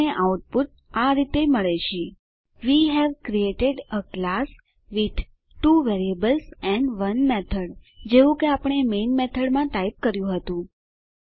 આપણને આઉટપુટ આ રીતે મળે છે160 વે હવે created a class with 2 variables and 1 method જેવું કે આપણે મેઈન મેથડમાં ટાઈપ કર્યું હતું